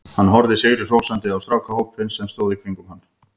Hann horfði sigri hrósandi á strákahópinn sem stóð í kringum hann.